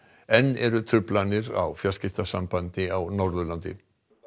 enn eru truflanir á fjarskiptasambandi á Norðurlandi